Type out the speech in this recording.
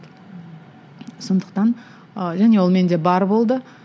сондықтан ы және ол менде бар болды